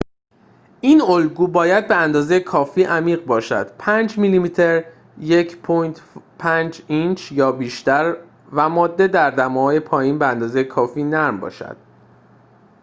این الگو باید به‌اندازه کافی عمیق باشد، 5 میلیمتر 1/5 اینچ یا بیشتر و ماده در دماهای پایین، به‌ اندازه کافی نرم باشد